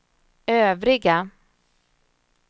övriga